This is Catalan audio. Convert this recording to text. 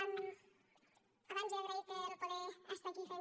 abans he agraït poder estar aquí fent